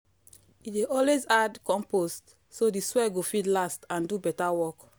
e dey always add compost so the soil go fit last and do better work.